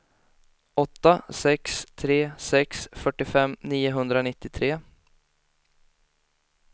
åtta sex tre sex fyrtiofem niohundranittiotre